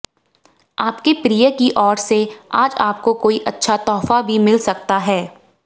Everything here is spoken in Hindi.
आपके प्रिय की ओर से आज आपको कोई अच्छा तोहफा भी मिल सकता है